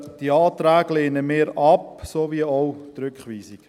Diese Anträge lehnen wir ab sowie auch die Rückweisung.